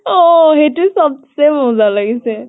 অ সেইটো চব্চে মজা লাগিছে